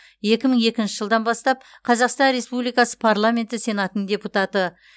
екі мың екінші жылдан бастап қазақстан республикасы парламенті сенатының депутаты